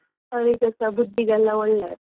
ಅವರಿಗೆಸಾ ಬುದ್ಧಿಗೆ ಎಲ್ಲ ಒಳ್ಳೆದು.